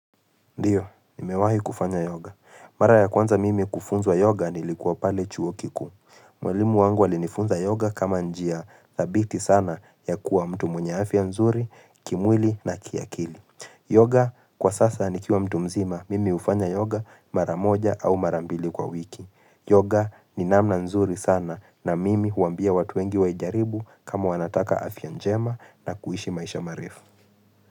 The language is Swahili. Ndiyo, nimewahi kufanya yoga. Mara ya kwanza mimi kufunzwa yoga nilikuwa pale chuo kikuu. Mweaimu wangu alinifunza yoga kama njia dhabiti sana ya kuwa mtu mwenye afya nzuri, kimwili na kiakili. Yoga kwa sasa nikiwa mtu mzima mimi hufanya yoga mara moja au mara mbili kwa wiki. Yoga ni namna nzuri sana na mimi huambia watu wengi wa ijaribu kama wanataka afya njema na kuishi maisha marefu.